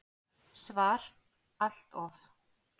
SVAR Allt of.